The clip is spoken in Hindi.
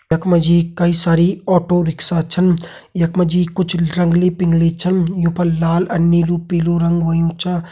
यख मा जी कई सारी ऑटो रिक्शा छन यख मा जी कुछ रंगली पिंगली छन यूं पर लाल अर नीलू पीलू रंग होयुं छा।